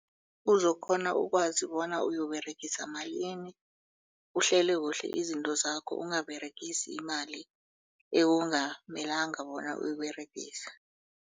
Uzokghona ukwazi bona uyoberegisa malini uhlele kuhle izinto zakho ungaberegisi imali ekungamelanga bona uyiberegisa.